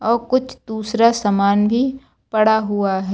और कुछ दूसरा सामान भी पड़ा हुआ है।